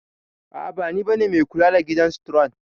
A'a bani bane mai kula da gidan staron.